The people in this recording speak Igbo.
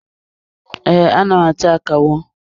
Ee, ana m atụ akawo.